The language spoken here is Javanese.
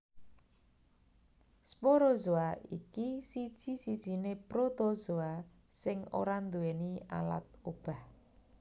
Sporozoa iki siji sijiné Protozoa sing ora nduwèni alat obah